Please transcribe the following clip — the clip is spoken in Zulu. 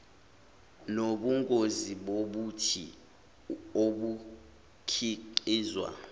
nobungozi bobuthi obukhiqizwa